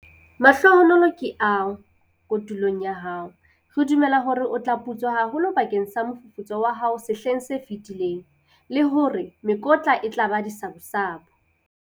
Mahlohonolo ke ao kotulong ya hao! Re dumela hore o tla putswa haholo bakeng sa mofufutso wa hao sehleng se fetileng, le hore mekotla e tla ba disabusabu!